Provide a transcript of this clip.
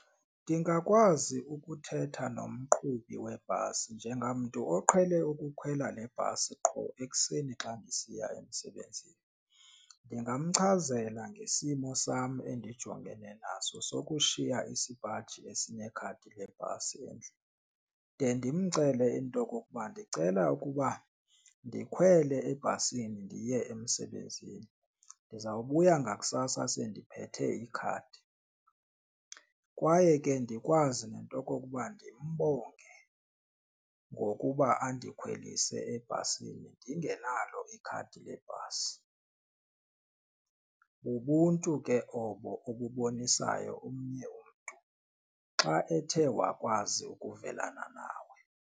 Ndingakwazi ukuthetha nomqhubi webhasi njengamntu oqhele ukukhwela le bhasi qho ekuseni xa ndisiya emsebenzini. Ndingamchazela ngesimo sam endijongene naso sokushiya isipaji esinekhadi lebhasi endlini, de ndimcele into okokuba ndicela ukuba ndikhwele ebhasini ndiye emsebenzini ndizawubuya ngakusasa sendiphethe ikhadi. Kwaye ke ndikwazi nento okokuba ndimbonge ngokuba andikhwelise ebhasini ndingenalo ikhadi lebhasi. Bubuntu ke obo obubonisayo omnye umntu xa ethe wakwazi ukuvelana nawe.